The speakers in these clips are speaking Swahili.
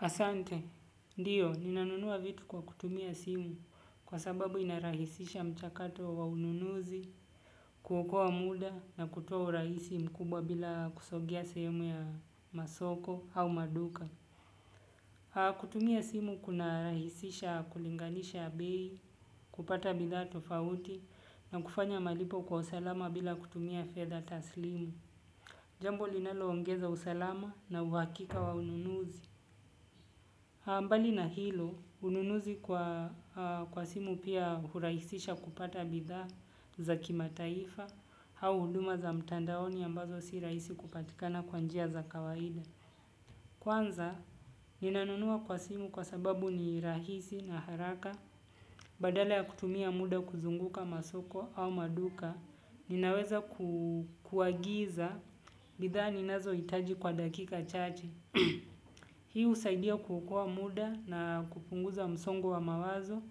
Asante, diyo, ninanunua vitu kwa kutumia simu kwa sababu inarahisisha mchakato wa ununuzi, kuokoa muda na kutoa urahisi mkubwa bila kusogea sehemu ya masoko au maduka. Ha kutumia simu kuna rahisisha kulinganisha abei, kupata bidha tofauti na kufanya malipo kwa usalama bila kutumia fedha taslimu. Jambo linaloongeza usalama na uwakika wa ununuzi. Ambali na hilo, ununuzi kwa simu pia huraisisha kupata bidhaa za kima taifa, hau huduma za mtandaoni ambazo si raisi kupatikana kwaanjia za kawaida. Kwanza, ninanunua kwa simu kwa sababu ni rahisi na haraka, badala ya kutumia muda kuzunguka masoko au maduka, ninaweza kuagiza bidhaa ninazo itaji kwa dakika chache hii usaidia kuokoa muda na kupunguza msongo wa mawazo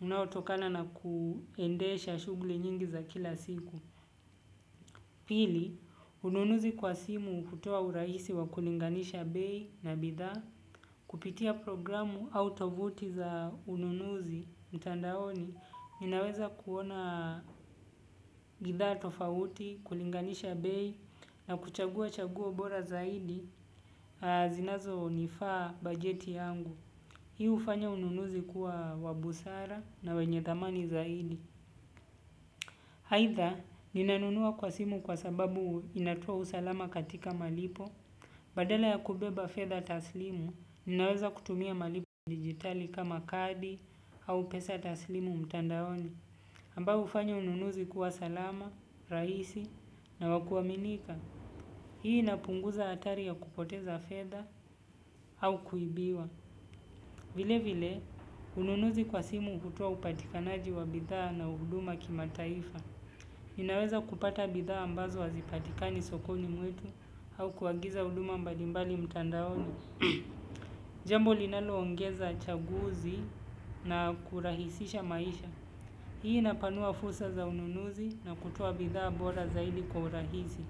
unaotokana kuendesha shugli nyingi za kila siku. Pili, ununuzi kwa simu hutoa uraisi wa kulinganisha bei na bidhaa. Kupitia programu autovuti za ununuzi mtandaoni ninaweza kuona bidhaa tofaauti kulinganisha bidhaa bora zaidi na zinazo nifaa bajeti yangu hi ufanya ununuzi kuwa wenye busara na dhamani zaidi. Haitha, ninanunua kwa simu kwa sababu inatia usalama katika malipo. Badala ya kubeba pesa taslimu ninaweza kutumia malipo ya kidijitali kama kadi au pesa taslimu mtandaoni amba ufanya ununuzi kuwa salama, raisi na wakuaminika. Hii inapunguza atari ya kupoteza fedha au kuibiwa. Vile vile, ununuzi kwa simu hutoa upatikanaji wa bidhaa na uuduma kima taifa. Ninaweza kupata bidhaa ambazo hazipatika ni sokoni mwetu au kuagiza uuduma mbalimbali mtandaoni. Jambo linalo ongeza chaguzi na kurahisisha maisha. Hii inapanua fursa za ununuzi na kutuwa bidhaa bora zaidi kwa urahisi.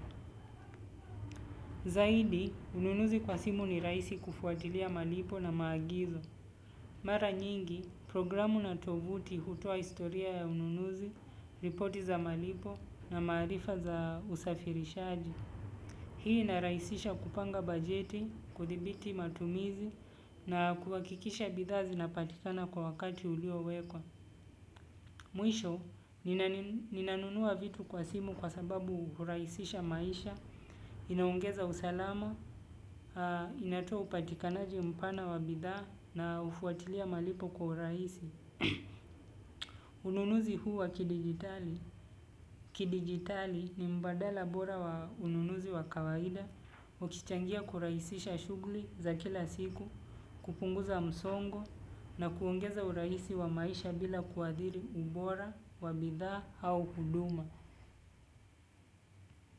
Zaidi, ununuzi kwa simu ni raisi kufuatilia malipo na maagizo. Mara nyingi, programu na tovuti hutua istoria ya ununuzi, ripoti za malipo na marifa za usafirishaji. Hii inaraisisha kupanga bajeti, kudibiti matumizi na kuwakikisha bidhaa zina patikana kwa wakati ulio wekwa. Mwisho, ninanunua vitu kwa simu kwa sababu huraisisha maisha, inaongeza usalama, inatoa upatikanaji mpana wa bidhaa na ufuatilia malipo kwa huraisi. Ununuzi huu wa kidigitali kidigitali ni mbadala bora wa ununuzi wa kawaida. Ukichangia kuraisisha shugli za kila siku kupunguza msongo na kuongeza uraisi wa maisha bila kuadiri ubora, wa bidhaa au huduma.